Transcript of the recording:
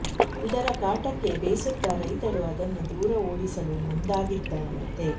ಇದರ ಕಾಟಕ್ಕೆ ಬೇಸತ್ತ ರೈತರು ಅದನ್ನು ದೂರ ಓಡಿಸಲು ಮುಂದಾಗಿದ್ದನಂತೆ